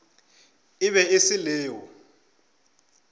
e be e se leo